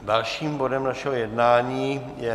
Dalším bodem našeho jednání je